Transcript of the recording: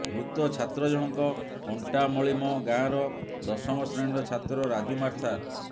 ମୃତ ଛାତ୍ର ଜଣକ କଣ୍ଟାମଳିମ ଗାଁର ଦଶମ ଶ୍ରେଣୀର ଛାତ୍ର ରାଜୁ ମାର୍ଥା